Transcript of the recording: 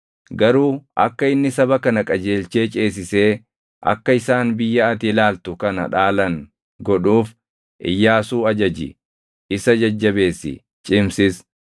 Garuu akka inni saba kana qajeelchee ceesisee akka isaan biyya ati ilaaltu kana dhaalan godhuuf Iyyaasuu ajaji; isa jajjabeessi; cimsis.”